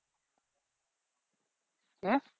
কে?